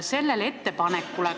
Tänan, härra juhataja!